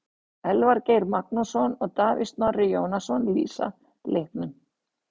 Elvar Geir Magnússon og Davíð Snorri Jónasson lýsa leiknum.